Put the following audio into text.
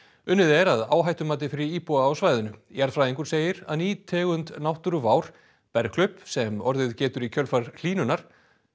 unnið er að áhættumati fyrir íbúa á svæðinu jarðfræðingur segir að ný tegund náttúruvár sem orðið getur í kjölfar hlýnunar